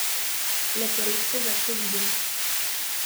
Le poredko ga še vidim.